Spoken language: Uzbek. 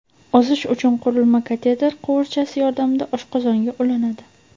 Ozish uchun qurilma kateter quvurchasi yordamida oshqozonga ulanadi.